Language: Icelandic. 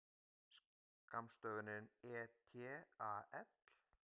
Skammstöfunin et al.